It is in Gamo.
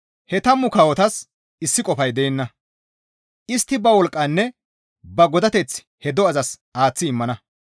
He tammu kawotas issi qofay de7ana; istti ba wolqqanne ba godateth he do7azas aaththi immana.